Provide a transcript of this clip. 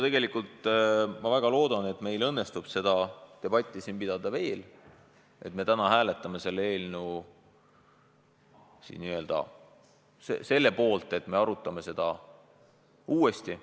Tegelikult ma väga loodan, et meil õnnestub seda debatti siin veel pidada, et me täna hääletame selle poolt, et me arutame seda uuesti.